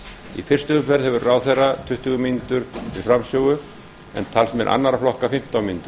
í fyrstu umferð hefur ráðherra tuttugu mínútur til framsögu en talsmenn annarra flokka fimmtán mínútur